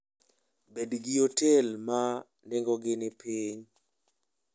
Bed gi otel ma nengogi ni piny.